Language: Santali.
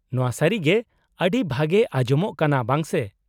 -ᱱᱚᱶᱟ ᱥᱟᱹᱨᱤ ᱜᱮ ᱟᱹᱰᱤ ᱵᱷᱟᱜᱮ ᱟᱸᱡᱚᱢᱚᱜ ᱠᱟᱱᱟ, ᱵᱟᱝ ᱥᱮ ?